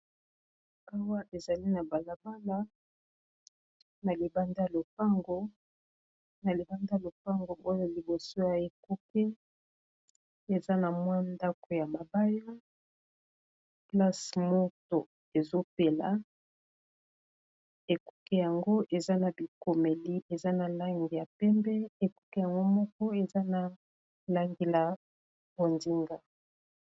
Awa, ezali na balabala. Na libanda, lopango oyo liboso ya ekuke ; eza na mwa ndako ya mabaya, place moto ezo pela. Ekuke yango, eza na bikomeli eza na langi ya pembe. Ekuke yango moko, eza na langi la bosinga.